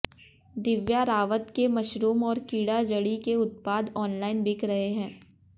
दिव्या रावत के मशरूम और कीड़ा जड़ी के उत्पाद ऑनलाइन बिक रहे हैं